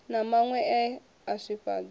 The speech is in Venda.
na maṅwe e a swifhadza